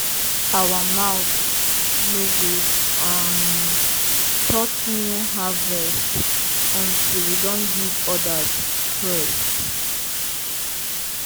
our mouth no go um touch new harvest until we don give others first.